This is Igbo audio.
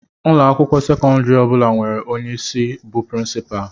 Ụlọ akwụkwọ sekọndrị ọ bụla nwere onye isi bu princupalu.